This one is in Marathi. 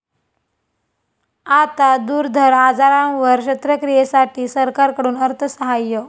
आता दुर्धर आजारांवर शस्त्रक्रियेसाठी सरकारकडून अर्थसहाय्य